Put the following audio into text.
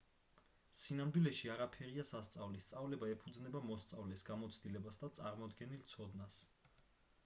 სინამდვილეში არაფერია სასწავლი სწავლება ეფუძნება მოსწავლეს გამოცდილებას და წარმოდგენილ ცოდნას